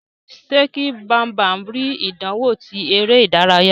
Ṣe kí Bambam ri ìdánwò ti eré ìdárayá.